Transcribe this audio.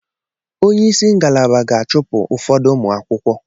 Onye isi ngalaba ga-achụpụ ụfọdụ ụmụ akwụkwọ.